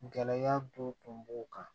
Gɛlɛya dɔ tun b'o kan